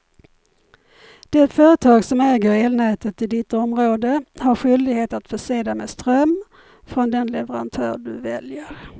Det företag som äger elnätet i ditt område har skyldighet att förse dig med ström från den leverantör du väljer.